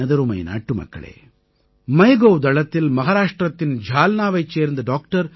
எனதருமை நாட்டுமக்களே MyGovதளத்தில் மஹாராஷ்ட்ரத்தின் ஜால்னாவைச் சேர்ந்த டாக்டர்